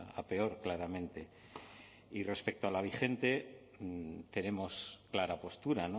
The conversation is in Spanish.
a peor claramente y respecto a la vigente tenemos clara postura